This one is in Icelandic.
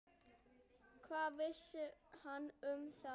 Hvað vissi hann um hana?